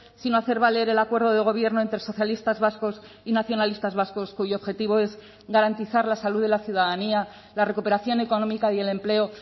sino a hacer valer el acuerdo de gobierno entre socialistas vascos y nacionalistas vascos cuyo objetivo es garantizar la salud de la ciudadanía la recuperación económica y el empleo